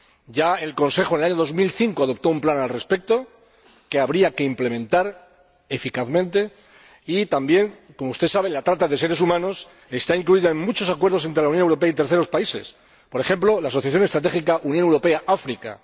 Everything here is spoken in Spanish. Ya en el año 2005 el Consejo adoptó un plan al respecto, que habría que implementar eficazmente y también, como usted sabe, la trata de seres humanos está incluida en muchos acuerdos entre la Unión Europea y terceros países, por ejemplo, la Asociación Estratégica Unión Europea África.